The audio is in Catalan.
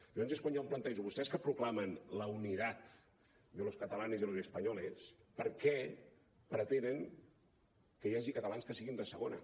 llavors és quan jo em plantejo vostès que proclamen la unidad de los catalanes y los españoles per què pretenen que hi hagi catalans que siguin de segona